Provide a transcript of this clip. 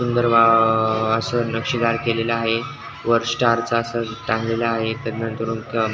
सुंदर व अस नक्षीदार केलेल आहे वर स्टारच अस टांगलेल आहे.